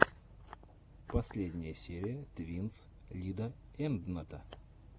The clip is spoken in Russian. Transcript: последняя серия твинс лидаэндната